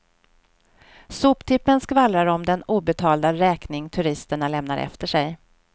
Soptippen skvallrar om den obetalda räkning turisterna lämnar efter sig.